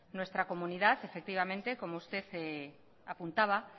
nuestra comunidad como usted apuntaba